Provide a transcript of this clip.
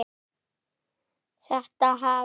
Þetta hafi